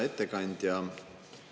Hea ettekandja!